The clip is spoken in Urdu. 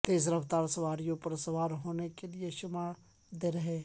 تیز رفتار سواریوں پر سوار ہونے کے لئے شمالی ڈر ہے